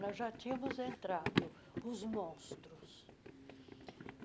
Nós já tínhamos entrado, os monstros.